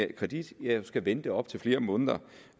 kredit skal vente op til flere måneder